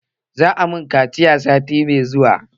Za a mun kaciya sati mai zuwa